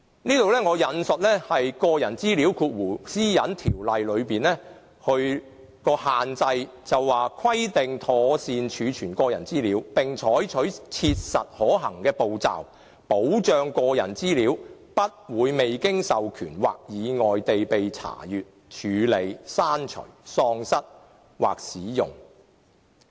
就此，我說出《私隱條例》的限制：規定妥善儲存個人資料，並採取切實可行的步驟，保障個人資料不會未經授權或意外地被查閱、處理、刪除、喪失或使用。